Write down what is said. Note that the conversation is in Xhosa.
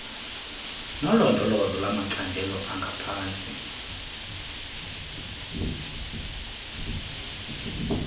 nolondolozo lwamacandelo angaphantsi